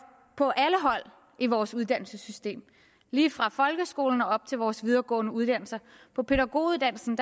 på alle hold i vores uddannelsessystem lige fra folkeskolen og op til vores videregående uddannelser på pædagoguddannelsen